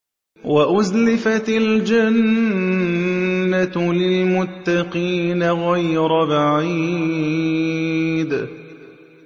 وَأُزْلِفَتِ الْجَنَّةُ لِلْمُتَّقِينَ غَيْرَ بَعِيدٍ